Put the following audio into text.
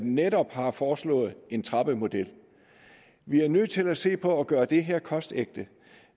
netop har foreslået en trappemodel vi er nødt til at se på hvordan vi gør det her kostægte